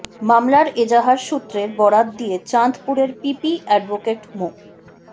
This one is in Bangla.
মামলার এজাহার সূত্রের বরাত দিয়ে চাঁদপুরের পিপি অ্যাডভোকেট মো